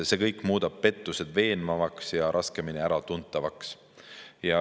See kõik muudab pettused veenvaks ja raskemini äratuntavaks.